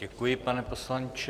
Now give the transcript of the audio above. Děkuji, pane poslanče.